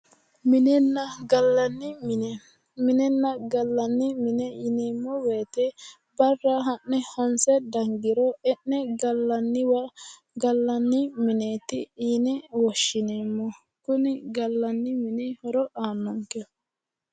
Minenna gallanni mine ,minenna gallanni mine yineemmo woyte barra ha'ne honse dange e'ne gallanni mine gallani mineti yinne woshshineemmo ,kuni gallanni mini horo aanonke.